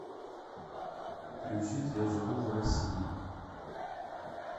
включить я живу в россии